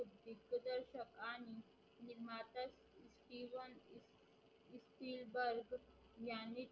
याने